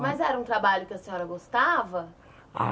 Mas era um trabalho que a senhora gostava?